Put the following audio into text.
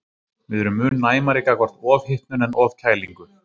Við erum mun næmari gagnvart ofhitnun en ofkælingu.